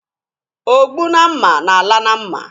Ogbu na mma na-ala na mma.